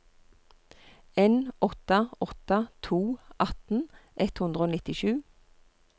en åtte åtte to atten ett hundre og nittisju